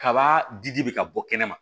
Kaba di di bɛ ka bɔ kɛnɛ ma